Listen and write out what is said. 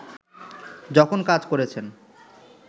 যখন কাজ করেছেন